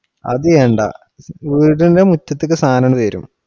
അത് ചെയ്യണ്ട ഇവിടുത്തെ മുറ്റത്തേക്ക് സാധനം വരും.